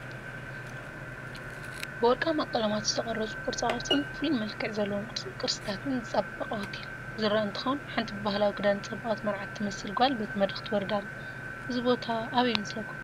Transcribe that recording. ብወርቃማ ቀለማት ዝተቐረፁ ቅርፃቅርፅን ፉሉየ መልክዓት ዘለዎም ቅርስታትን ዝፀበቐ ሆቴል ዝረአ እንትኸውን ሓንቲ ብባህላዊ ክዳን ዝፀበቐት መርዓት ትመስል ጓል በቲ መድረኽ ትወርድ ኣላ፡፡ እዚ ቦታ ኣበይ ይመስለኩም?